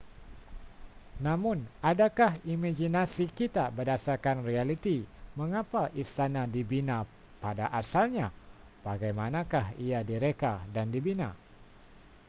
namun adakah imaginasi kita berdasarkan realiti mengapa istana dibina pada asalnya bagaimanakah ia direka dan dibina